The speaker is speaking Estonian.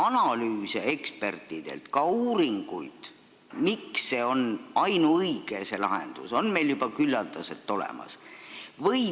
Analüüse ekspertidelt ja ka uuringuid, miks see lahendus on ainuõige, on meil juba küllaldaselt olemas.